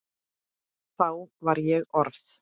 Þá var ég orð